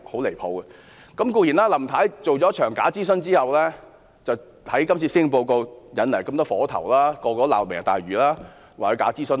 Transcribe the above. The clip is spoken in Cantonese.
林太做了一場假諮詢後，在施政報告點起很多火頭，人人都罵"明日大嶼"，說她假諮詢。